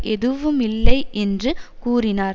எதுவுமில்லை என்று கூறினார்